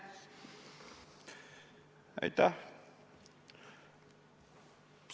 Aitäh!